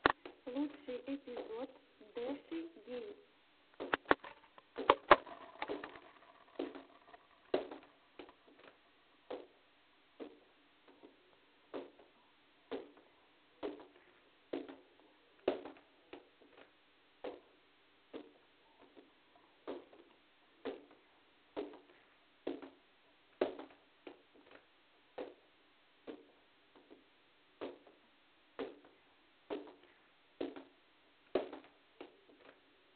лучший эпизод дэши геймс